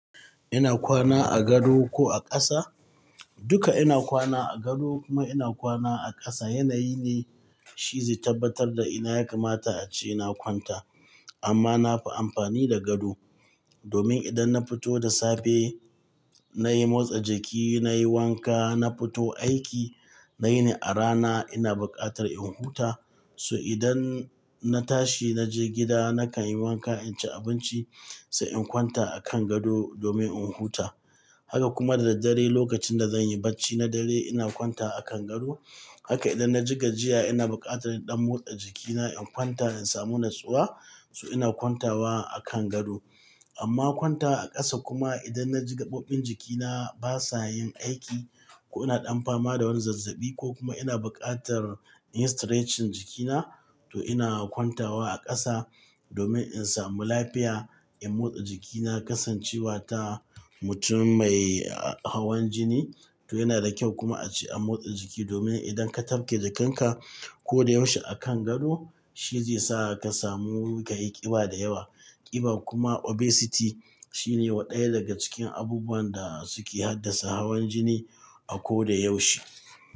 Ina kwana a gado ko a ƙasa? Duka ina kwana a gado kuma ina kwana a ƙasa. Yanayi ne shi zai tabbatar da ina ya kamata ace ina kwanta. Amma nafi amfani da gado domin idan na fito da safe nayi motsa jiki, nayi wanka, na fito aiki, nayi ne a rana ina buƙatar in huta. So idan na tashi na je gida nakan yi wanka, inci abinci sai in kwanta a kan gado domin in huta. Haka kuma da daddare lokacin da zan yi barci na dare ina kwanta a kan gado. Haka idan na ji gajiya ina buƙatar in ɗan motsa jikina in kwanta in samu natsuwa so ina kwantawa a kan gado. Amma kwanta wa a ƙasa kuma idan na ji gaɓoɓin jikina ba sa yin aiki ko ina ɗan fama da wani zazzabi ko kuma ina buƙatar in stretching jikina to ina kwantawa a ƙasa domin in samu lafiya, in motsa jikina, kasancewa ta mutum mai hawan jini. To yana da kyau kuma ace a motsa jiki domin idan ka tafke jikanka ko da yaushe a kan gado shi zai sa ka samu ka yi ƙiba da yawa. Ƙiba kuma obesity shine wa ɗaya daga cikin abubuwan da suke haddasa hawan jini a ko da yaushe.